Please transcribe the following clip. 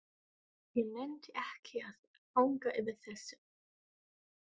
Ég nennti ekki að hanga yfir þessu.